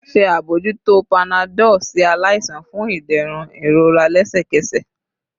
Ṣe abojuto panadol si alaisan fun iderun irora lẹsẹkẹsẹ